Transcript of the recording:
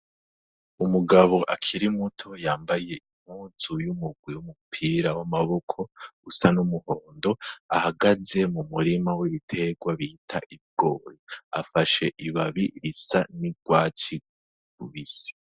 Umugabo akiri muto yambaye impuzu y'umugwi w'umupira w'amaboko usa n'umuhondo, ahagaze mu murima w'ibiterwa bita ibigori, afashe ibabi risa n'urwatsi rubisi.